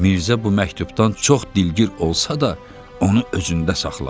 Mirzə bu məktubdan çox dilgir olsa da, onu özündə saxladı.